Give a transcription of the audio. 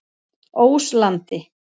Óslandi